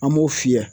An b'o fiyɛ